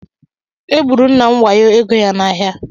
E gburu Nna m wayo ego ya n’ahịa.